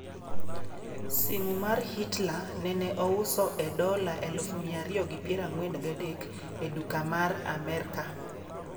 Simu mar Hitler nene ouso e dola 243,000 e duka mar Amerka